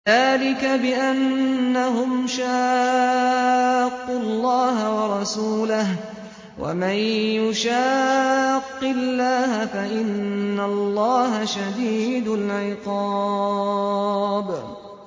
ذَٰلِكَ بِأَنَّهُمْ شَاقُّوا اللَّهَ وَرَسُولَهُ ۖ وَمَن يُشَاقِّ اللَّهَ فَإِنَّ اللَّهَ شَدِيدُ الْعِقَابِ